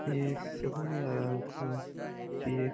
ये समझ नहीं आ रहा है हमको की --